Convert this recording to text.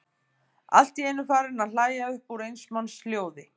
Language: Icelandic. Allt í einu farinn að hlæja upp úr eins manns hljóði.